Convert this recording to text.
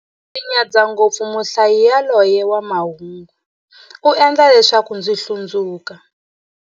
Ndzi nyadza ngopfu muhlayi yaloye wa mahungu, u endla leswaku ndzi hlundzuka.